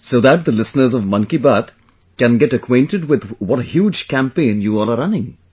So that the listeners of 'Mann Ki Baat' can get acquainted with what a huge campaign you all are running